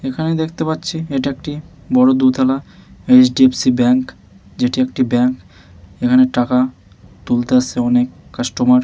এখানে দেখতে পাচ্ছি এটি একটি বড় দুতালা এইচ.ডি.এফসি. ব্যাঙ্ক । যেটি একটি ব্যাংক । এখানে টাকা তুলতে আসছে অনেক কাস্টমার --